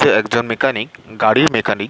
সে একজন মেকানিক গাড়ির মেকানিক ।